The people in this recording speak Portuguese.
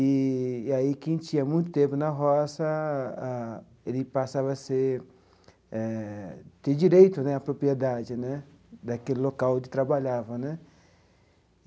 E e aí quem tinha muito tempo na roça ah, ele passava a ser eh ter direito né à propriedade né daquele local onde trabalhava né.